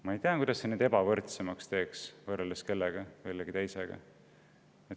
Ma ei tea, kuidas see neid ebavõrdsemaks teeks võrreldes kellegi teisega.